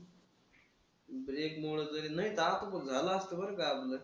Break मुळं तरी नाही दहा पण बघ झालं असतं बरं का आपलं.